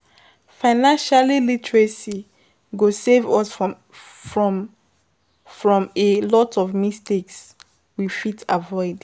Financial literacy go save us from a from a lot of mistakes we we fit avoid